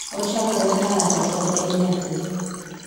ochakre ka ng'ato pod en nyathi.